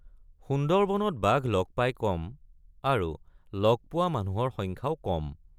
সুন্দৰবনত বাঘ লগ পায় কম আৰু লগ পোৱা মানুহৰ সংখ্যাও কম।